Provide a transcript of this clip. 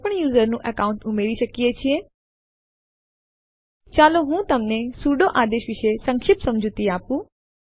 source ફાઈલો કે જે આપણે કોપી કરવા ઈચ્છીએ છીએ તેના નામઅને અંતિમ ડિરેક્ટરી કે જેમાં આ ફાઈલો કોપી કરવામાં આવશે